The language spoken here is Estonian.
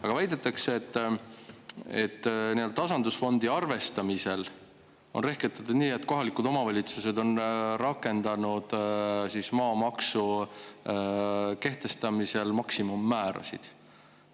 Aga väidetakse, et tasandusfondi arvestamisel on rehkendatud nii, et kohalikud omavalitsused on rakendanud maamaksu kehtestamisel maksimummäärasid.